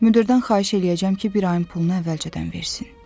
Müdirdən xahiş eləyəcəm ki, bir ayın pulunu əvvəlcədən versin.